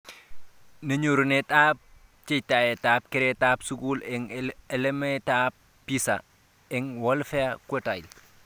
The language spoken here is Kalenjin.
Ne nyorunettab bjetaitab keretab keratab skul eng alametab PISA eng 'welfare quintile'